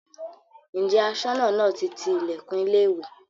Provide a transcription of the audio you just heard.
Ǹjẹ́ Aṣọ́nà náà ti ti ilẹ̀kùn ilé ìwé?